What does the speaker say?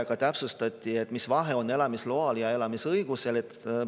Ja täpsustati, mis vahe on elamisloal ja elamisõigusel.